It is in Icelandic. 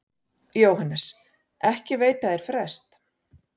JÓHANNES: Ekki veita þeir frest.